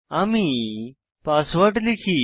আমি পাসওয়ার্ড লিখি